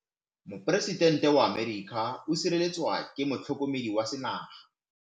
Poresitêntê wa Amerika o sireletswa ke motlhokomedi wa sengaga.